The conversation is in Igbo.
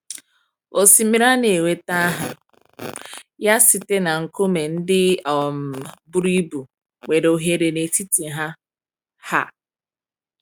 Osimiri a na-enweta aha ya site na nkume ndị um buru ibu nwere oghere n’etiti ha. um